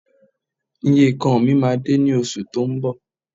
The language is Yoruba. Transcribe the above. Ìyekan mi máa dé ní oṣù tó ń bọ̀